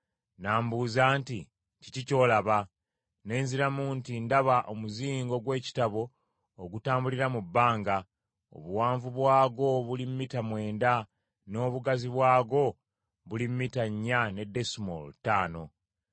N’ambuuza nti, “Kiki ky’olaba?” Ne nziramu nti, “Ndaba omuzingo gw’ekitabo ogutambulira mu bbanga, obuwanvu bwagwo buli mita mwenda n’obugazi bwagwo buli mita nnya ne desimoolo ttaano.”